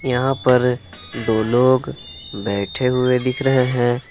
यहां पर दो लोग बैठे हुए दिख रहे हैं।